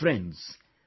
Friends,